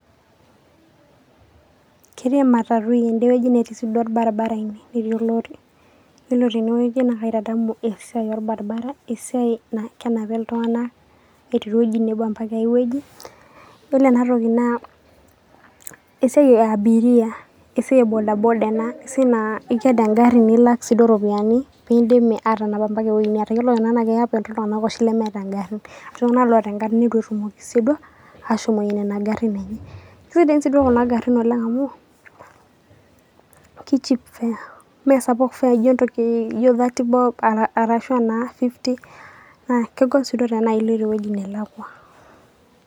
ketii ematatui ede wueji netii sii duo olbaribara ine, netii olori, ore tene wueji naa kaitadamu esiai olbaibara, esiai naa kenapita iltunganak etii ewueji nebo .ore ena toki naa esiai e abiria esiai e bodaboda ena .esiai naa iked egari nilak siiduo, iropiyiani pee kidimi aatanap mpaka ewueji. amu ketii iltunganak oshi lemeeta garin, iltunganak oota ogarin neitu etumoki siiyie duo, ashomoyie nena garin enye. keneap kuna garin amu ki cheap fare, me sapuk fare ijo thirty bob arashu naa fifty na kegol sii duo tenaa iloito ewueji nelakua.